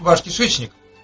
ваш кишечник